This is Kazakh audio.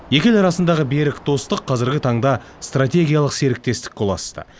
екі ел арасындағы берік достық қазіргі таңда стратегиялық серіктестікке ұласты